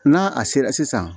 N'a a sera sisan